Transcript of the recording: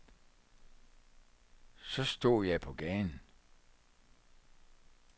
Så stod jeg på gaden.